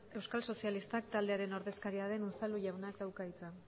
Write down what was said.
euskal sozialistak taldearen ordezkaria den unzalu jaunak dauka hitza